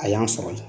A y'an sɔrɔ yen